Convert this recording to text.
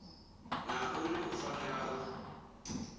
na uri u fanela u